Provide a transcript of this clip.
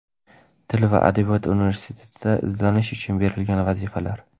Til va Adabiyot universitetida izlanish uchun berilgan vazifalar:.